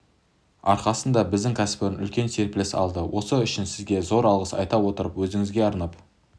арқасында біздің кәсіпорын үлкен серпіліс алды осы үшін сізге зор алғыс айта отырып өзіңізге арнап